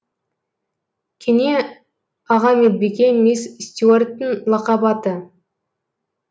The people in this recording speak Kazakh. кене аға медбике мисс стюарттың лақап аты